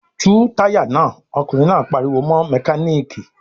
"Tú táyà náà!" Ọkùnrin náà pariwo mọ́ mẹkáníkì.